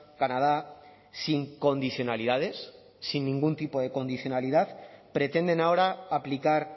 canadá sin condicionalidades sin ningún tipo de condicionalidad pretenden ahora aplicar